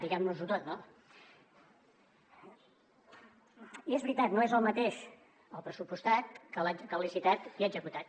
diguem nos ho tot no i és veritat no és el mateix el pressupostat que el licitat i executat